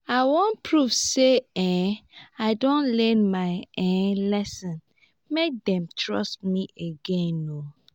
i wan prove sey um i don learn my um lesson make dem trust me again.